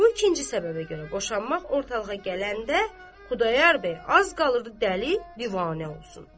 Bu ikinci səbəbə görə boşanmaq ortalığa gələndə Xudayar bəy az qalırdı dəli divanə olsun.